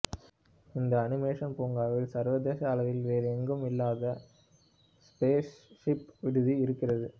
இந்த அனிமேஷன் பூங்காவில் சர்வதேச அளவில் வேறு எங்கும் இல்லாத ஸ்பேஸ் ஷிப் விடுதி இருக்கிறது